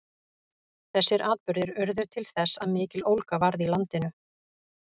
þessir atburðir urðu til þess að mikill ólga varð í landinu